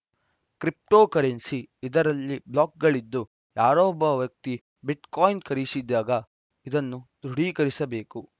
crypto currency ಇದರಲ್ಲಿ ಬ್ಲಾಕ್‌ಗಳಿದ್ದು ಯಾರೋ ಒಬ್ಬ ವ್ಯಕ್ತಿ ಬಿಟ್‌ಕಾಯಿನ್‌ ಖರೀಸಿದಾಗ ಇದನ್ನು ದೃಢೀಕರಿಸಬೇಕು